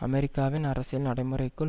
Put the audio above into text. அமெரிக்காவின் அரசியல் நடைமுறைக்குள்